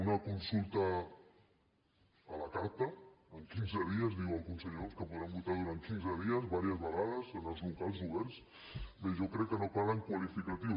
una consulta a la carta en quinze dies diu el conseller homs que podran votar durant quinze dies diverses vegades en els locals oberts bé jo crec que no calen qualificatius